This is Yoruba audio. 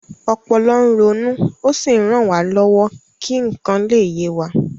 Ọpọlọ ń ronú ó sì ń ràn wá lọ́wọ́ kí nǹkan lè yé wa